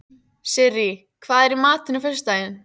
Sirrí, hvað er í matinn á föstudaginn?